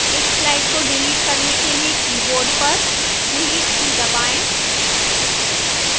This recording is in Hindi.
इस slide को डिलीट करने के लिए keyboard पर delete की दबाएं